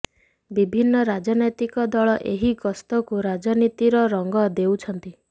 ବିଭିନ୍ନ ରାଜନୈତକି ଦଳ ଏହି ଗସ୍ତକୁ ରାଜନୀତିର ରଂଗ ଦେଉଛନ୍ତି